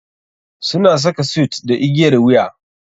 Suna saka suit da igiyar wuya.